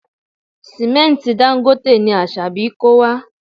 Sìmẹ́ntì Dangote ni Asabi kó wá